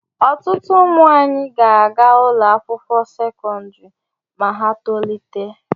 Ọtụtụ ụmụ anyị ga-aga ụlọ akwụkwọ sekọndrị ma ha tolite.